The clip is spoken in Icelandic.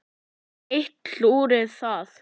Enn eitt klúðrið þar!